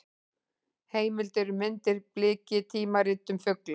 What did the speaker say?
Heimildir og myndir: Bliki: tímarit um fugla.